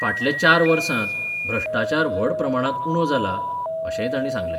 फाटल्या चार वर्सांत भ्रश्टाचार व्हड प्रमाणांत उणो जाला अशेंय तांणी सांगलें.